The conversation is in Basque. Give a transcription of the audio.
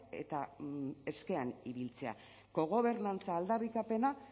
eta eskean ibiltzea kogobernantza aldarrikapena